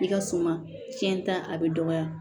I ka suma tiɲɛ ta a bɛ dɔgɔya